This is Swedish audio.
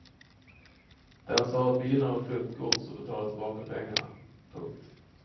Den sa att bilen var flyttgods och betalade tillbaka pengarna. punkt